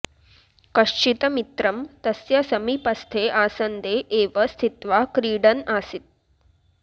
कश्चित् मित्रं तस्य समीपस्थे आसन्दे एव स्थित्वा क्रीडन् आसीत्